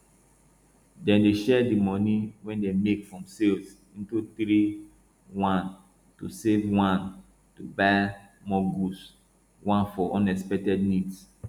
dem dey share di moni wey dem make from sales into three one to save one to buy more goods one for um unexpected needs